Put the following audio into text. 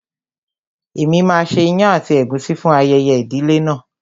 Èmi máa ṣe ìyàn àti ègúsí fún ayẹyẹ ìdílé náà.